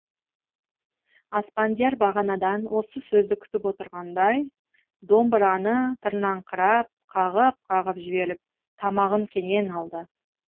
аспандияр бағанадан осы сөзді күтіп отырғандай домбыраны тырнаңқырап қағып қағып жіберіп тамағын кенен алды